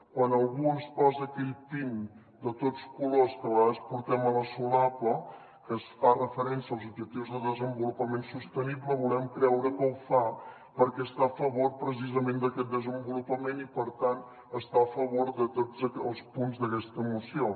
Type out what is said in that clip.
quan algú es posa aquell pin de tots colors que a vegades portem a la solapa que fa referència als objectius de desenvolupament sostenible volem creure que ho fa perquè està a favor precisament d’aquest desenvolupament i per tant està a favor de tots els punts d’aquesta moció